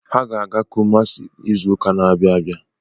Ha ga-aga Kumasi izụka na-abịa abịa.